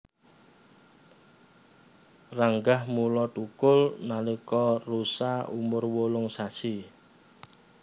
Ranggah mulai thukul nalika rusa umur wolung sasi